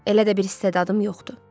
Elə də bir istedadım yoxdur.